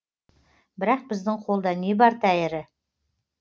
бірақ біздің қолда не бар тәйірі